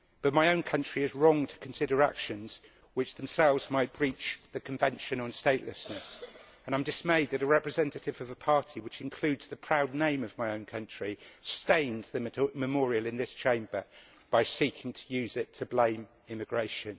but my own country is wrong to consider actions which themselves might breach the Conventions on Statelessness. I am dismayed that a representative of a party which includes the proud name of my own country stained the memorial in this Chamber by seeking to use it to blame immigration.